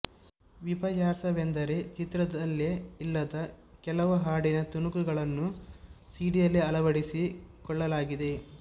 ವಿಪರ್ಯಾಸವೆಂದರೆ ಚಿತ್ರದಲ್ಲೇ ಇಲ್ಲದ ಕೆಲವು ಹಾಡಿನ ತುಣುಕುಗಳನ್ನು ಸಿಡಿಯಲ್ಲಿ ಅಳವಡಿಸಿಕೊಳ್ಳಲಾಗಿದೆ